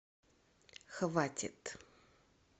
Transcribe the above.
хватит